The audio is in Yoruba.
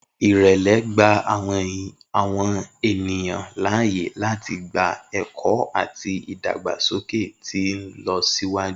Irẹlẹ gba awọn eniyan laaye lati gba ẹkọ ati idagbasoke ti nlọsiwaju.